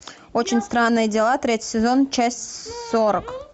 очень странные дела третий сезон часть сорок